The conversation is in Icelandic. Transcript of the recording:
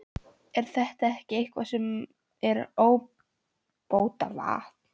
Er þetta ekki eitthvað sem er ábótavant?